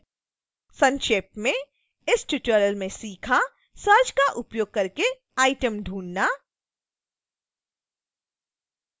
संक्षेप में